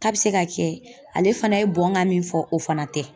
K'a bɛ se ka kɛ ale fana ye bɔnnkan min fɔ o fana tɛ